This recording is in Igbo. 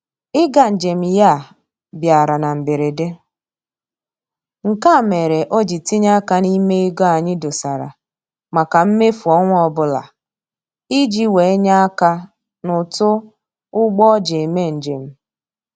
Ịga njem ya a bịara na mberede, nke a mere o ji tinye aka n'ime ego anyị dosara maka mmefu ọnwa ọbụla iji wee nye aka n'ụtụ ụgbọ o ji eme njem